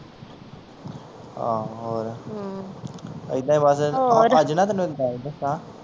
ਹਾਂ ਹੋਰ ਹਮ ਐਦਾਂ ਹੀ ਬਸ ਅੱਜ ਨਾ ਤੈਨੂੰ ਇੱਕ ਗੱਲ ਦੱਸਾਂ